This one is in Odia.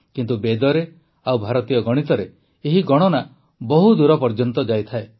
କିନ୍ତୁ ବେଦରେ ଓ ଭାରତୀୟ ଗଣିତରେ ଏହି ଗଣନା ବହୁ ଦୂର ପର୍ଯ୍ୟନ୍ତ ଯାଇଥାଏ